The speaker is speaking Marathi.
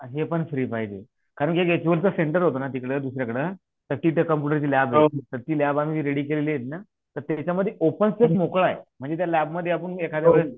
आणि हे पण फ्री पाहिजे कारण याच्यावर तर सेंटर होत न तिथलं दुसऱ्याकडे तर ती त्या कॉम्पुटरची लॅब अन रेडी केलेलीना त्याच्यामुळ ते ओपन स्पेस मोकळ आहे म्हणजे त्या लॅबमध्ये आपण एखाद्या वेळेस